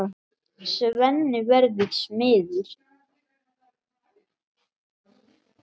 Svenni verður smiður.